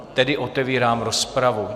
Tedy otevírám rozpravu.